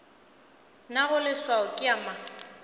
nago leswao ke ya mang